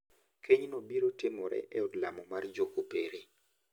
Kenyno biro timore e od lamo mar jokopere.